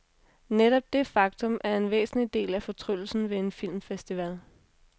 Netop det faktum, er en væsentlig del af fortryllelsen ved en filmfestival.